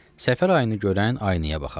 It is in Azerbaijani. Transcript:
Səfər ayını görən aynaya baxa.